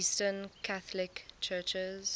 eastern catholic churches